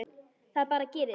Það bara gerist.